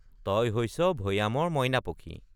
তই হৈছ ভৈয়ামৰ মইনা পখী।